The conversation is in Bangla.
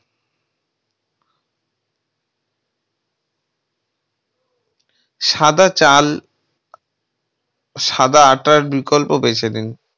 সাদা চাল‌ সাদা আটার বিকল্প বেছে দিন।